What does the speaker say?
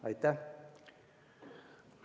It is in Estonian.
Aitäh!